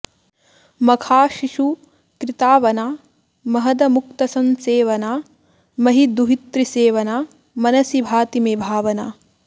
मखाशिषु कृतावना महदमुक्तसंसेवना महीदुहितृसेवना मनसि भाति मे भावना